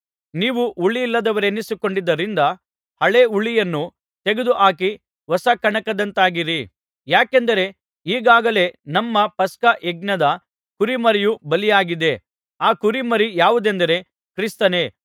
ನೀವು ಹುಳಿಯಿಲ್ಲದವರೆನಿಸಿಕೊಂಡದ್ದರಿಂದ ಹಳೇ ಹುಳಿಯನ್ನು ತೆಗೆದುಹಾಕಿ ಹೊಸ ಕಣಕದಂತಾಗಿರಿ ಯಾಕೆಂದರೆ ಈಗಾಗಲೇ ನಮ್ಮ ಪಸ್ಕ ಯಜ್ಞದ ಕುರಿಮರಿಯು ಬಲಿಯಾಗಿದೆ ಆ ಕುರಿಮರಿ ಯಾವುದೆಂದರೆ ಕ್ರಿಸ್ತನೇ